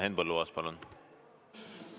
Henn Põlluaas, palun!